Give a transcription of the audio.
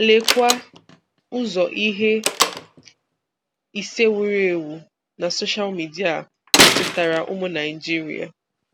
Lekwa ụzọ ihe ise wuru ewu na soshal midia metụtara ụmụ Naịjirịa